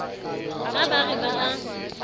ha ba re ba a